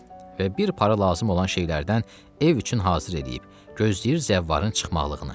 Və bir para lazım olan şeylərdən ev üçün hazır eləyib, gözləyir zəvvarın çıxmaqlığını.